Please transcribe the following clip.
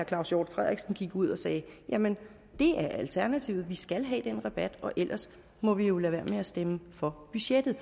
claus hjort frederiksen gik ud og sagde jamen det er alternativet vi skal have den rabat ellers må vi jo lade være med at stemme for budgettet